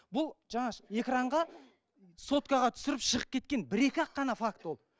бұл жаңағы экранға соткаға түсіріп шығып кеткен бір екі ақ ғана факт ол